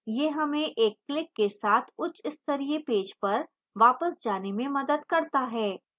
यह हमें एक click के साथ उच्चस्तरीय पेज पर वापस जाने में मदद करता है